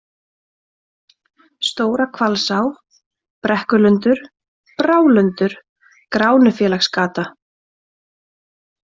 Stóra-Hvalsá, Brekkulundur, Brálundur, Gránufélagsgata